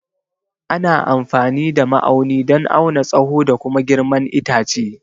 Ana amfani da ma'auni don auna tsaho da kuma girman itace.